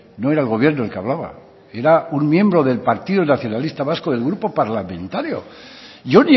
no era el gobierno el que hablaba era un miembro del partido nacionalista vasco del grupo parlamentario yo